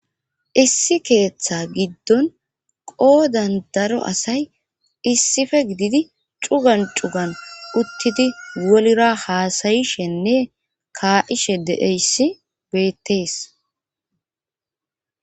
issi keeththa giddon qoodan daro asay issife gididi cugan cugan uttidi wolira haasayishenne kaa7ishe deeyssi beettees.